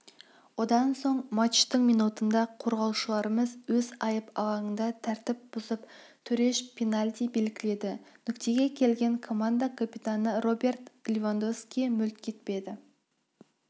одан соң матчтың минутында қорғаушыларымыз өз айып алаңында тәртіп бұзып төреш пенальти белгіледі нүктеге келген команда капитаны роберт левандовский мүлт кетпеді